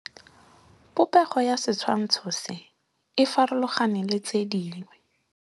Popêgo ya setshwantshô se, e farologane le tse dingwe.